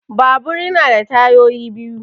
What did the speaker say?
Babur ya na da tayoyi biyu